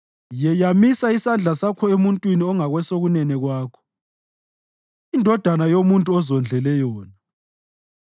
Yeyamisa isandla sakho emuntwini ongakwesokunene kwakho, indodana yomuntu ozondlele yona.